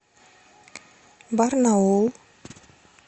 барнаул